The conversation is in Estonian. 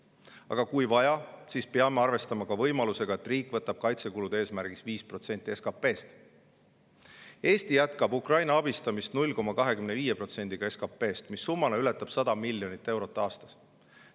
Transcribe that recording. Aga kui vaja, siis peame arvestama ka võimalusega, et riik võtab kaitsekulude eesmärgiks 5% SKP‑st. Eesti jätkab Ukraina abistamist 0,25%‑ga SKP-st, mis summana ületab 100 miljonit eurot aastas.